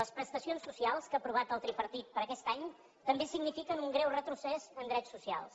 les prestacions socials que ha aprovat el tripartit per a aquest any també signifiquen un greu retrocés en drets socials